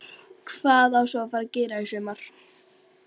Hvað á svo að fara að gera í sumar?